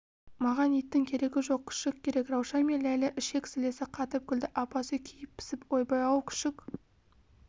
маған иттің керегі жоқ күшік керек раушан мен ләйлә ішек-сілесі қатып күлді апасы күйіп-пісіп ойбай-ау күшік